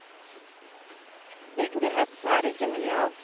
Bygdehets er det ikke mye av.